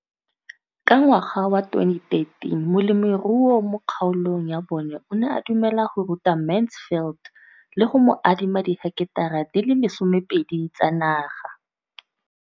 Ka ngwaga wa 2013, molemirui mo kgaolong ya bona o ne a dumela go ruta Mansfield le go mo adima di heketara di le 12 tsa naga.